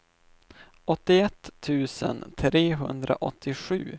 åttioett tusen trehundraåttiosju